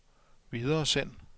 videresend